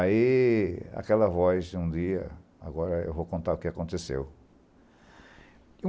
Aí aquela voz, um dia... Agora eu vou contar o que aconteceu.